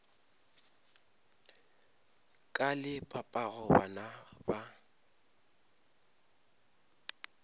ka le papago bana ba